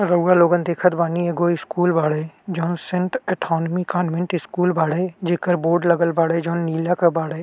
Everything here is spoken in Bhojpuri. रउवा लोगन देखत बानी एगो स्कूल बाड़े जहाँ सेंट एथॉनमी कान्वेन्ट स्कूल बाड़े जेकर बोर्ड लगल बाड़े जोन नीला क बाड़े।